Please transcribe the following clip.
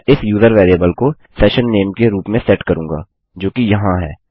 मैं इस user variable को सेशन नेम के रूप में सेट करूँगा जोकि यहाँ है